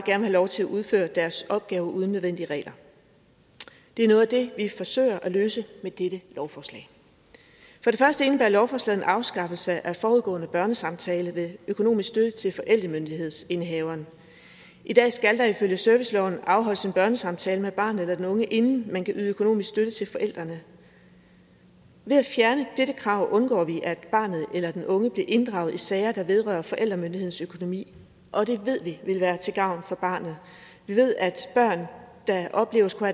have lov til at udføre deres opgaver uden nødvendige regler det er noget af det vi forsøger at løse med dette lovforslag for det første indebærer lovforslaget en afskaffelse af forudgående børnesamtale ved økonomisk støtte til forældremyndighedsindehaveren i dag skal der ifølge serviceloven afholdes en børnesamtale med barnet eller den unge inden man kan yde økonomisk støtte til forældrene ved at fjerne dette krav undgår vi at barnet eller den unge bliver inddraget i sager der vedrører forældremyndighedsøkonomi og det ved vi vil være til gavn for barnet vi ved at børn der oplever at skulle